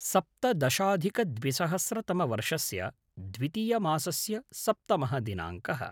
सप्तदशाधिकद्विसहस्रतमवर्षस्य द्वितीयमासस्य सप्तमः दिनाङ्कः